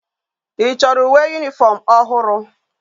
I choro uwe uniform ohuru?